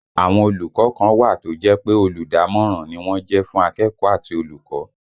Àwọn olùkọ́ kan wà tó jẹ́ pé olùdámọ̀ràn ni wọ́n jẹ́ fún akẹ́kọ̀ọ́ àti olùkọ́